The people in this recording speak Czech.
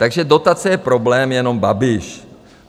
Takže dotace je problém jenom Babiš.